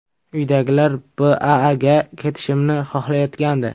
Uydagilar BAAga ketishimni xohlayotgandi.